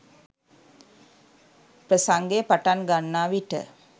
ප්‍රසංගය පටන් ගන්නා විට